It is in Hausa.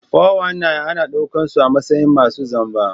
419 ana daukar su a matsayin masu zamba.